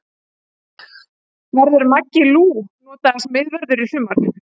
Verður Maggi Lú notaður sem miðvörður í sumar?